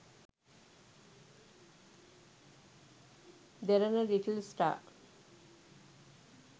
derana little star